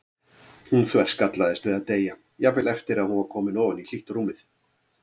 Hún þverskallaðist við að deyja, jafnvel eftir að hún var komin ofan í hlýtt rúmið.